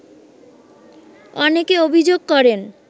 অনেকে অভিযোগ করেন